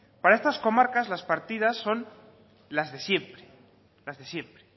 para estas comarcas las partidas son las de siempre las de siempre